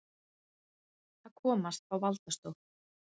Að komast á valdastól